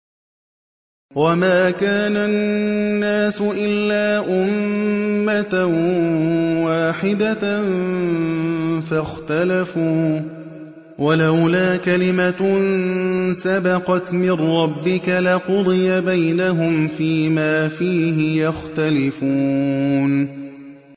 وَمَا كَانَ النَّاسُ إِلَّا أُمَّةً وَاحِدَةً فَاخْتَلَفُوا ۚ وَلَوْلَا كَلِمَةٌ سَبَقَتْ مِن رَّبِّكَ لَقُضِيَ بَيْنَهُمْ فِيمَا فِيهِ يَخْتَلِفُونَ